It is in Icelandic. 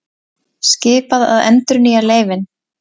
Skipað að endurnýja leyfin